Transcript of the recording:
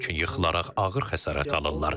Lakin yıxılaraq ağır xəsarət alırlar.